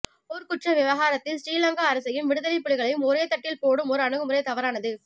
போர்க்குற்ற விவகாரத்தில் சிறிலங்கா அரசையும் விடுதலைப் புலிகளையும் ஒரே தட்டில் போடும் ஓர் அணுகுமுறை தவறானது